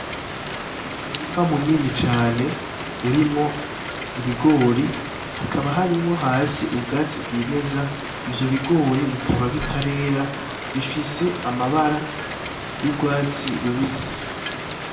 Umurima munini cane urimwo ibigori, hakaba harimwo hasi ubwatsi bwimeza. Ivyo bigori bikaba bitarera, bifise amabara y'urwatsi rubisi.